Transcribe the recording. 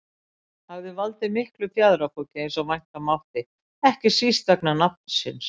hafði valdið miklu fjaðrafoki eins og vænta mátti, ekki síst vegna nafnsins.